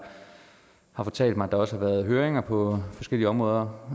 har fortalt mig at der også har været høringer på forskellige områder